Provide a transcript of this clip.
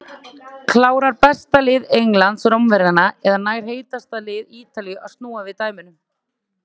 Klárar besta lið Englands Rómverjana eða nær heitasta lið Ítalíu að snúa við dæminu?